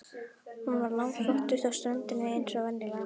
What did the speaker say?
Hún var langflottust á ströndinni eins og venjulega.